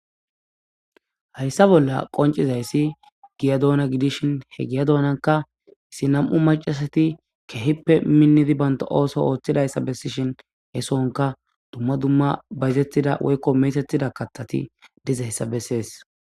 hayssa bolla qoncizayssi giya doona gidishin he giya doonaka isi nam7u macasati kehippe minnidi banta ooso ooththidayssa bessishin he sonka dumma dumma bayzettida woykko metetida katthati dizayssa bessees